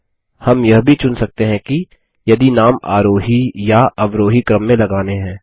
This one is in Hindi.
हम यह भी चुन सकते हैं की यदि नाम आरोही या अवरोही क्रम में लगाने हैं